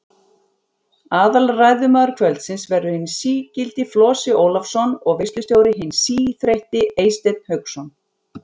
Aðalræðumaður kvöldsins verður hinn sí-gildi Flosi Ólafsson og veislustjóri hinn sí-þreytti Eysteinn Hauksson.